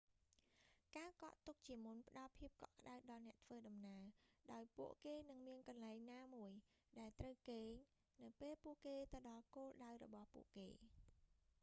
ការកក់ទុកជាមុនផ្តល់ភាពកក់ក្តៅដល់អ្នកធ្វើដំណើរ ដោយពួកគេនឹងមានកន្លែងណាមួយ ដែលត្រូវគេង នៅពេលពួកគេទៅដល់គោលដៅរបស់ពួកគេ